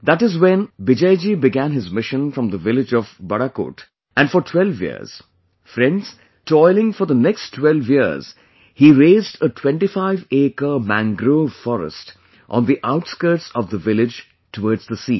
That is when Bijayji began his mission from the village of Barakot and for12 years... Friends, toiling for the next 12 years he raised a 25acre mangrove forest on the outskirts of the village towards the sea